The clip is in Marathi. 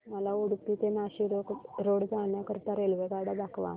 मला उडुपी ते नाशिक रोड जाण्या करीता रेल्वेगाड्या दाखवा